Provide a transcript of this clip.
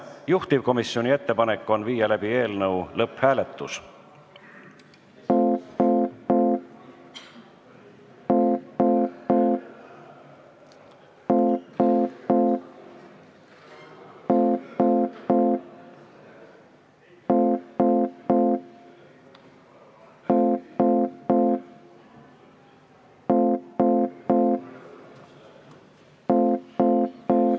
Juhtivkomisjoni ettepanek on viia läbi eelnõu lõpphääletus.